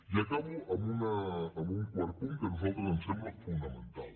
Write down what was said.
i acabo amb un quart punt que a nosaltres ens sembla fonamental